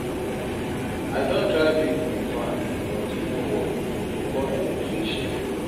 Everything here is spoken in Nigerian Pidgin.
I don try fix di fan, but e no work, we go call electrician.